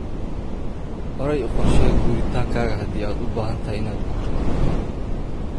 Horay u qorshee guuritaankaada haddii aad u baahan tahay inaad guurto.